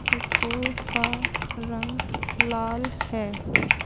School का रंग लाल है।